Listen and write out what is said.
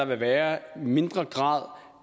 vil være mindre grad